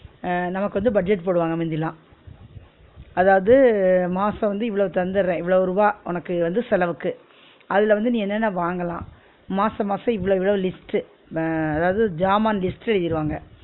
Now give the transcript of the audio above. அஹ் நமக்கு வந்து budget போடுவாங்க மிந்திலாம் அதாவது மாசம் வந்து இவ்ளோ தந்துறேன் இவ்ளவு ருவா உனக்கு வந்து செலவுக்கு, அதுல வந்து நீ என்ன என்ன வாங்களான் மாசம் மாசம் இவ்ளோ இவ்ளோ list உ அஹ் அதாவது ஜாமான் list எழுதிருவாங்க